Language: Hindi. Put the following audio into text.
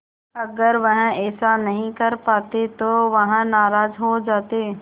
अगर वह ऐसा नहीं कर पाते तो वह नाराज़ हो जाते